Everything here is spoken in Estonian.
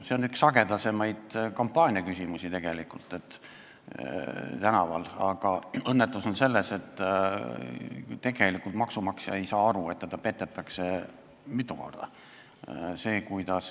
See on üks sagedasemaid kampaaniaküsimusi tänaval, aga õnnetus on selles, et maksumaksja ei saa aru, et teda petetakse mitu korda.